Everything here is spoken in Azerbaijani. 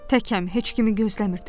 Təkəm, heç kimi gözləmirdim.